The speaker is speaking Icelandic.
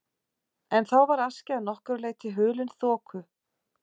En þá var Askja að nokkru leyti hulin þoku.